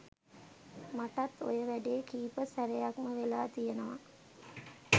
මටත් ඔය වැඩේ කීප සැරයක්ම වෙලා තියෙනවා